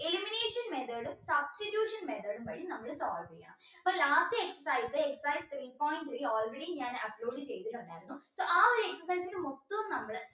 elimination method ഉ substitution method ഉം വഴി നമ്മൾ solve ചെയ്യ അപ്പൊ last exercise exercise all ready njan upload ചെയ്തിട്ടുണ്ടായിരുന്നു so ആ ഒരു exercise മൊത്തം നമ്മൾ